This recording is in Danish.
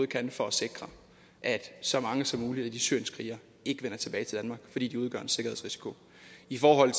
kan for at sikre at så mange som muligt af de syrienskrigere ikke vender tilbage til fordi de udgør en sikkerhedsrisiko i forhold